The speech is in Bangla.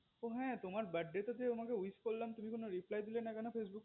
ও হা তোমার birthday তে যে তোমাকে wish করলাম তুমি কোনো reply দিলে না কেন facebook এ